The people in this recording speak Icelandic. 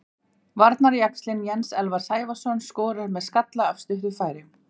Varnarjaxlinn Jens Elvar Sævarsson skorar með skalla af stuttu færi.